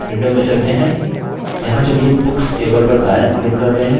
यहाँ books table पर दायाँ click करते हैं